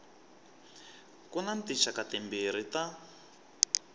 ku na tinxaka timbirhi ta